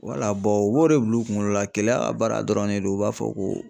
Wala u b'o de bila u kunkolo la gɛlɛya ka baara dɔrɔnw de don u b'a fɔ ko